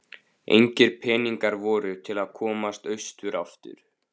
Engir peningar voru til að komast austur aftur.